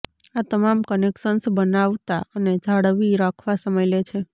આ તમામ કનેક્શન્સ બનાવતા અને જાળવી રાખવા સમય લે છે